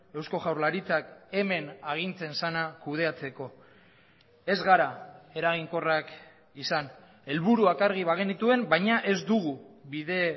eusko jaurlaritzak hemen agintzen zena kudeatzeko ez gara eraginkorrak izan helburuak argi bagenituen baina ez dugu bide